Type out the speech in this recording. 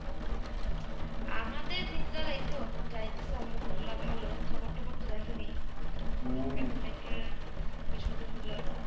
আমাদের দিনকাল এই তো যাইতেছে Arbi ভালো. খবর টবর তো দেখেনি. তো metro rail শুরু হইল.